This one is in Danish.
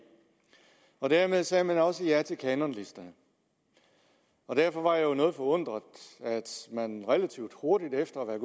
dermed sagde man også ja til kanonlisterne derfor var jeg noget forundret da man relativt hurtigt efter at